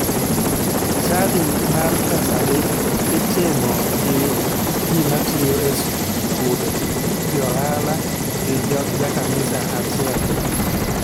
Chadi mar pesagi itimo gi ji matiyo e skude, johala gi jakanisa achiel.